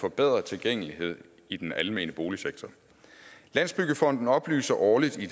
forbedret tilgængelighed i den almene boligsektor landsbyggefonden oplyser årligt i